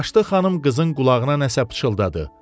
Yaşlı xanım qızın qulağına nəsə pıçıldadı.